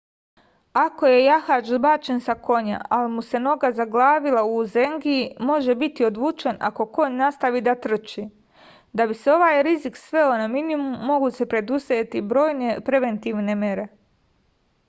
ako je jahač zbačen sa konja ali mu se noga zaglavila u uzengiji može biti odvučen ako konj nastavi da trči da bi se ovaj rizik sveo na minimum mogu se preduzeti brojne preventivne mere